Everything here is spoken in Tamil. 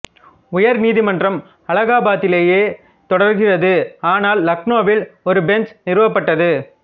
உயர் நீதிமன்றம் அலகாபாத்திலேயே தொடர்கிறது ஆனால் லக்னோவில் ஒரு பெஞ்ச் நிறுவப்பட்டது